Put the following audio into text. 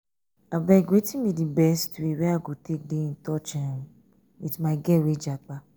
abeg wetin be di best way wey i go take dey in touch um with my girl wey japa?